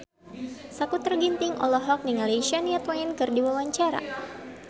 Sakutra Ginting olohok ningali Shania Twain keur diwawancara